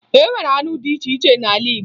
E nwere arụ dị iche iche n'ala Igbo